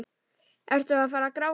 Ertu að fara að gráta?